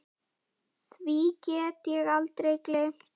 Því get ég aldrei gleymt.